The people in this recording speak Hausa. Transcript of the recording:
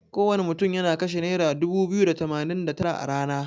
Kowana mutun yana kashe naira dubu biyu da tamanin da tara a rana.